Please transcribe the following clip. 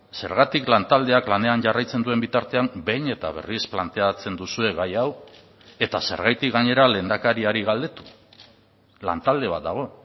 zergatik lantaldeak lanean jarraitzen duen bitartean behin eta berriz planteatzen duzue gai hau eta zergatik gainera lehendakariari galdetu lantalde bat dago